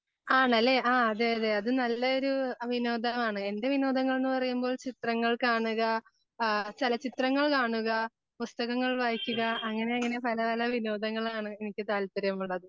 ആണല്ലേ ആ അതെ അതെ അത് നല്ലൊരു വിനോദമാണ് . എൻ്റെ വിനോദങ്ങൾ എന്നുപറയുമ്പോൾ ചിത്രങ്ങൾ കാണുക ആ ചലച്ചിത്രങ്ങൾ കാണുക പുസ്തകങ്ങൾ വായിക്കുക അങ്ങനെ അങ്ങനെ പല പല വിനോദങ്ങളാണ് എനിക്ക് താല്പര്യമുള്ളത്.